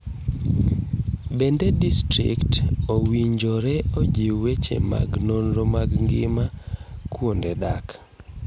Bende distrikt owinjore ojiw weche mag nonro mag ngima kuonde dak.